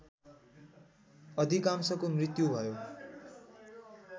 अधिकांशको मृत्यु भयो